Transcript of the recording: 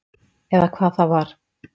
Eða hvað það var.